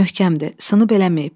Möhkəmdir, sınıb eləməyib.